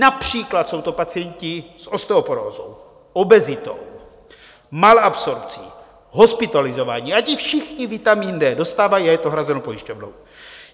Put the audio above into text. Například jsou to pacienti s osteoporózou, obezitou, malabsorpcí, hospitalizovaní, a ti všichni vitamin D dostávají a je to hrazeno pojišťovnou.